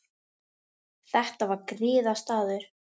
Þetta var griðastaður.